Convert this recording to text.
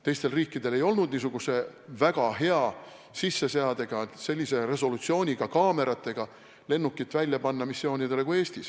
Teistel riikidel ei olnud nii hea sisseseadega, sellise resolutsiooniga kaameratega lennukit missioonidele saata kui Eestil.